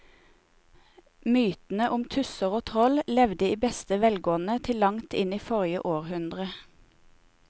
Mytene om tusser og troll levde i beste velgående til langt inn i forrige århundre.